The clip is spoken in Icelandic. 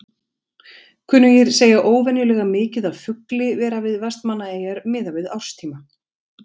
Kunnugir segja óvenjulega mikið af fugli vera við Vestmannaeyjar miðað við árstíma.